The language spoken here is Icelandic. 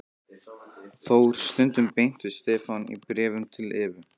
Þór stundum beint við Stefán í bréfum til Evu.